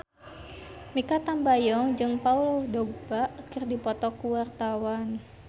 Mikha Tambayong jeung Paul Dogba keur dipoto ku wartawan